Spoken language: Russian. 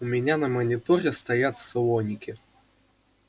у меня на мониторе стоят слоники